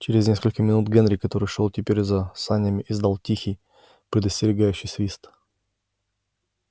через несколько минут генри который шёл теперь за санями издал тихий предостерегающий свист